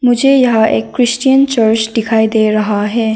मुझे यहाँ एक क्रिश्चियन चर्च दिखाई दे रहा है।